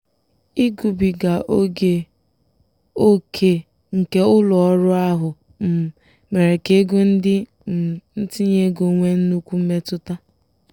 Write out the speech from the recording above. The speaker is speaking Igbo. ịgbubiga oge ókè nke ụlọ ọrụ ahụ um mere ka ego ndị um ntinye ego nwee nnukwu mmetụta.